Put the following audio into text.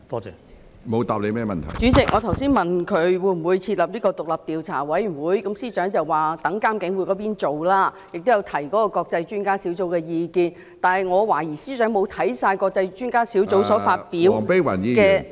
主席，我剛才問司長會否設立獨立調查委員會，他指有關工作會由監警會負責，並提及國際專家小組的意見，但我懷疑司長並未讀畢該小組發表的......